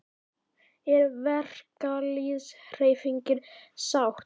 Er verkalýðshreyfingin sátt?